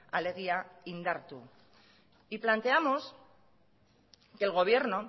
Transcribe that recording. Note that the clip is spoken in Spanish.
alegia indartu y planteamos que el gobierno